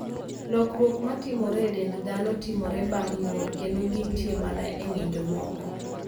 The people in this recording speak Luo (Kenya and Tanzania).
Lokruok matimore e dend dhano timore bang' nyuol, kendo gintie mana e ng'injo moko.